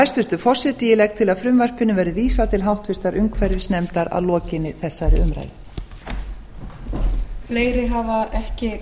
hæstvirtur forseti ég legg til að frumvarpinu verði vísað til háttvirtrar umhverfisnefndar að lokinni þessari umræðu